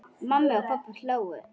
Mamma og pabbi hlógu.